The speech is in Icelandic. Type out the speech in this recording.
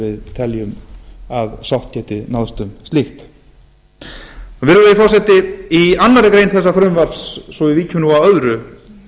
teljum að sátt geti náðst um slíkt virðulegi forseti í annarri grein þessa frumvarps svo við víkjum nú að öðru